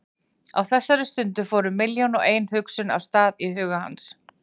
Á þeirri stundu fóru milljón og ein hugsun af stað í huga hans.